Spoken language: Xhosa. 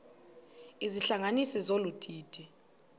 izihlanganisi zolu didi